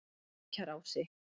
Lækjarási